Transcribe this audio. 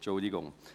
Entschuldigung